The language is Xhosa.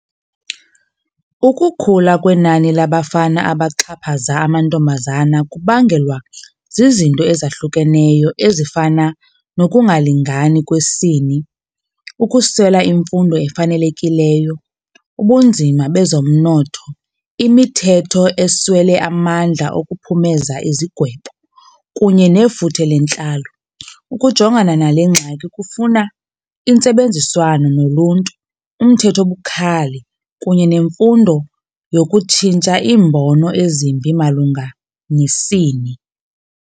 Ukukhula kwenani labafana abaxhaphaza amantombazana kubangelwa zizinto ezahlukeneyo ezifana nokungalingani kwesini, ukuswela imfundo efanelekileyo, ubunzima bezomnotho, imithetho eswele amandla okuphumeza izigwebo kunye nefuthe lentlalo. Ukujongana nale ngxaki kufuna intsebenziswano noluntu, umthetho obukhali kunye nemfundo yokutshintsha iimbono ezimbi malunga nesini.